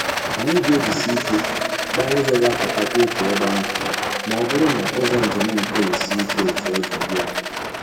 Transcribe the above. Anyị ga-ejisi ike gbaa ụzọ ga apụta kwa otu ebe ahụ ma ọ bụrụ na ụzọ njem nke a sie ike etu ọ dị ugbu a.